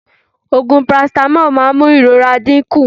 Ògùn paracetamol máa n mú ìrora dí kún